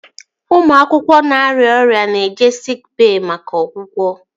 Ụmụ akwụkwọ na-arịa ọrịa na-eje siik bey maka ọgwụgwọ